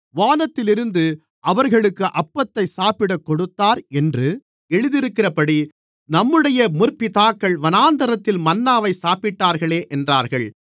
வானத்திலிருந்து அவர்களுக்கு அப்பத்தை சாப்பிடக் கொடுத்தார் என்று எழுதியிருக்கிறபடி நம்முடைய முற்பிதாக்கள் வனாந்திரத்தில் மன்னாவைச் சாப்பிட்டார்களே என்றார்கள்